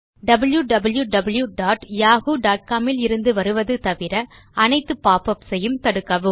wwwyahoocom லிருந்து வருவது தவிர அனைத்து பாப்பப்ஸ் யும் தடுக்கவும்